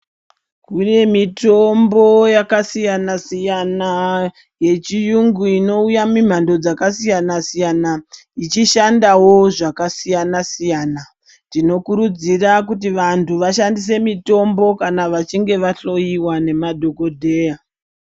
Kune mitombo yakasiyana-siyana yechiyungu inouya mimhando dzakasiyana-siyana ichishandawo zvakasiyana siyana. Tinokurudzira kuti vantu vashandise mitombo kana vachinge vahloyiwa ngemadhokodheya.